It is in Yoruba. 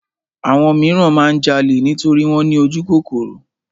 Àwọn míràn máa ń jalè nítorí wọ́n ní ojúkòkòrò.